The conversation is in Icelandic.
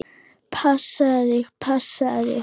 Passaðu þig, passaðu þig!